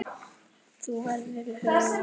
Þú verður í huga okkar.